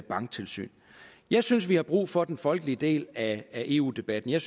banktilsyn jeg synes at vi har brug for den folkelige del af eu debatten jeg